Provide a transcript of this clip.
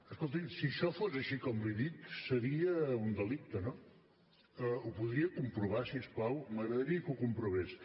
escolti’m si això fos així com li dic seria un delicte no ho podria comprovar si us plau m’agradaria que ho comprovés